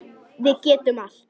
Við getum allt.